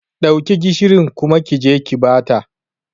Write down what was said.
Dauki gishirin kuma kije ki bata.